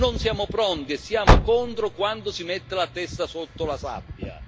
Non siamo pronti e siamo contro, quando si mette la testa sotto la sabbia.